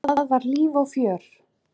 Það var líf og fjör.